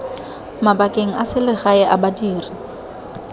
mabakeng a selegae a badiri